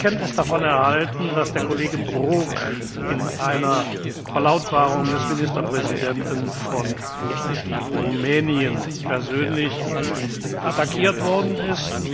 Ich habe Kenntnis davon erhalten, dass der Kollege Brok in einer Verlautbarung des Ministerpräsidenten von Rumänien persönlich attackiert worden ist.